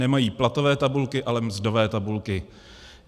Nemají platové tabulky, ale mzdové tabulky.